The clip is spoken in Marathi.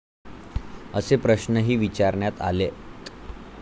असे प्रश्ऩही विचारण्यात आलेत.